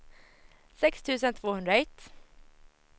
sex tusen tvåhundraett